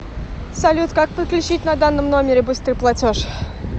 салют как подключить на данном номере быстрый платеж